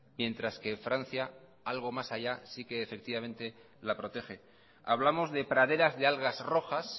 mientras que francia algo más allá sí que efectivamente la protege hablamos de praderas de algas rojas